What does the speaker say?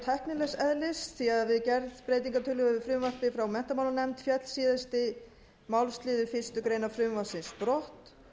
tæknilegs eðlis því að við gerð breytingartillögu við frumvarpið frá menntamálanefnd féll síðasti málsliður fyrstu grein frumvarpsins brott